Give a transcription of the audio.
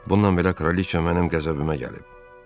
Bundan belə kraliça mənim qəzəbimə gəlib.